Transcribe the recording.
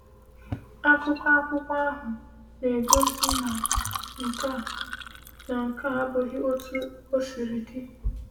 “Akụkọ akwụkwọ ahụ na-egosi na nke a na nke a abụghị otú o siri dị.”